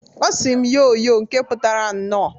Ọ sị m, "Yoo yoo!" nke putara "Nnọọ!"